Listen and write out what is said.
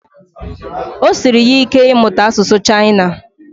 Ọ siri ya ike ịmụta asụsụ chaina